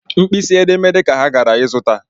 Mkpịsị edemede ka ha gara ịzụta